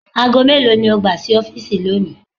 Aago melo ni o gba si ọfiisi loni?